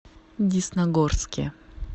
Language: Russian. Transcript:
десногорске